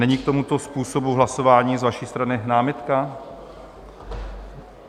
Není k tomuto způsobu hlasování z vaší strany námitka?